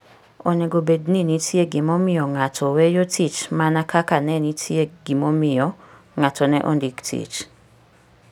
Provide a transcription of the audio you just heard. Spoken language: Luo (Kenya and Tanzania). Onego bed ni nitie gimomiyo ng'ato weyo tich mana kaka ne nitie gimomiyo ng'ato ne ondik tich.